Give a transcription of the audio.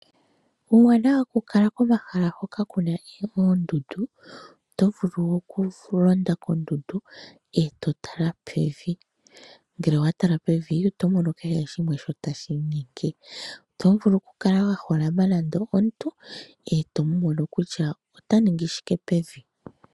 Uuwanawa woku kala komahala hoka kuna oondundu otovulu okulonda kodundu eto tala pevi ,ngele owatala pevi otomono kehe shimwe shoka tashi inyenge. Otovulu okukala mwaholama nande omuntu etomono kutya ota ningi shike pevi.